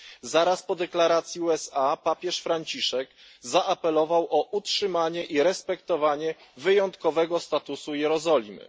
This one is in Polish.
Zaraz po deklaracji USA papież Franciszek zaapelował o utrzymanie i respektowanie wyjątkowego statusu Jerozolimy.